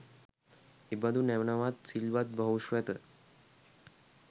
එබදු නැණවත් සිල්වත් බහුශ්‍රැත